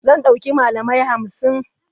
Zan dauki malamai hamsin.